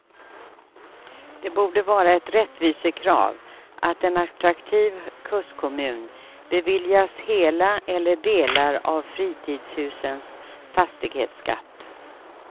Det borde vara ett rättvisekrav att en attraktiv kustkommun beviljas hela eller delar av fritidshusens fastighetsskatt.